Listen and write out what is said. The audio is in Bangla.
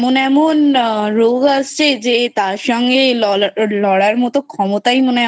এমন এমন রোগ আসছে তার সাথে লড়ার মতো ক্ষমতাই মনে হয়